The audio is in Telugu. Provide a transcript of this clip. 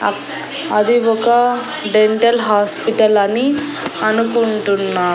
అక్ అది ఒక డెంటల్ హాస్పిటల్ అని అనుకుంటున్నా.